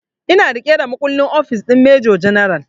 Ina riƙe da makullin ofis din major general